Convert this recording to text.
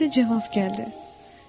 Ahəstə cavab gəldi.